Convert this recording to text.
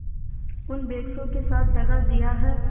उन बेकसों के साथ दगा दिया है